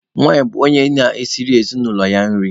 Nwanyị bụ onye na-esiri ezinụlọ ya nri.